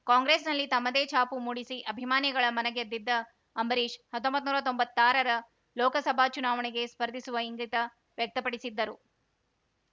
ಕಾಂಗ್ರೆಸ್‌ನಲ್ಲಿ ತಮ್ಮದೇ ಛಾಪು ಮೂಡಿಸಿ ಅಭಿಮಾನಿಗಳ ಮನಗೆದ್ದಿದ್ದ ಅಂಬರೀಶ್‌ ಹತ್ತೊಂಬತ್ ಹತ್ತೊಂಬತ್ನೂರಾ ತೊಂಬತ್ತಾರ ರ ಲೋಕಸಭಾ ಚುನಾವಣೆಗೆ ಸ್ಪರ್ಧಿಸುವ ಇಂಗಿತ ವ್ಯಕ್ತಪಡಿಸಿದ್ದರು